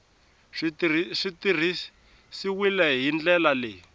swi tirhisiwile hi ndlela leyi